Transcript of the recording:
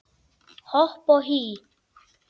Hopp og hí